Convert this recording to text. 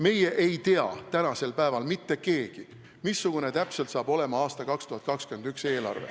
Meie ei tea tänasel päeval mitte keegi, missugune täpselt saab olema aasta 2021 eelarve.